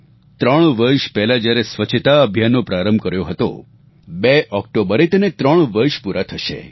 ત્રણ વર્ષ પહેલા જ્યારે સ્વચ્છતા અભિયાનનો પ્રારંભ કર્યો હતો 2 ઓક્ટોબરે તેને ત્રણ વર્ષ પૂરા થશે